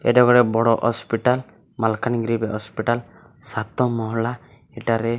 ଏଇଟା ଗୋଟେ ବଡ଼ ହସ୍ପିଟାଲ୍ ମାଲକାନାଗିରି ହସ୍ପିଟାଲ୍ ସାତ ମହଳା ଏଟାରେ --